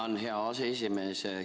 Tänan, hea aseesimees!